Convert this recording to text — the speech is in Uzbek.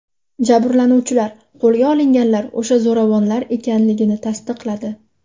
Jabrlanuvchilar qo‘lga olinganlar o‘sha zo‘ravonlar ekanligini tasdiqladi.